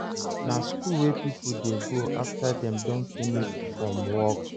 Na school wey pipo dey go after dem don finish from work